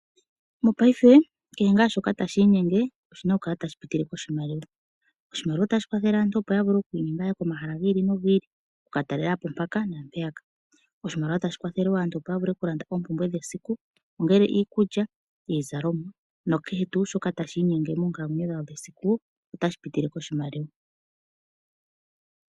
Mapayife kehe ngaa shoka tashi inyenge, oshina oku kala tashi pitile koshimaliwa. Oshimaliwa otashi kwathele aantu opo yavule oku inyenga yahe komahala giili nogiili okuka talelapo mpaka naa mpeyaka. Oshimaliwa otashi kwathele wo aantu opo yavule oku landa oompumbwe dhesiku ongele iikulya, iizalomwa na kehe tuu shoka tashi inyenge monkalamwenyo dhawo dhesiku otashi pitile koshimaliwa.